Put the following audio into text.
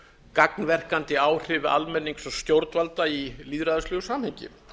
gagnverkandi áhrif almennings og stjórnvalda í lýðræðislegu samhengi